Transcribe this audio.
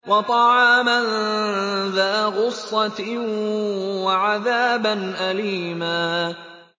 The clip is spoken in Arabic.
وَطَعَامًا ذَا غُصَّةٍ وَعَذَابًا أَلِيمًا